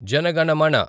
Jana Gana Mana